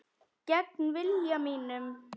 Gegn vilja mínum.